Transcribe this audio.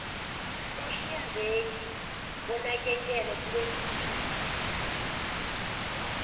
umhlinzeki wonakekelo lwezempilo